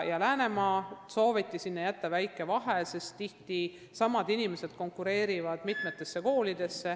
Sinna vahele sooviti jätta väike vahe, sest tihti konkureerivad samad inimesed mitmesse kooli.